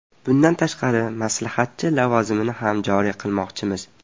Bundan tashqari, maslahatchi lavozimini ham joriy qilmoqchimiz.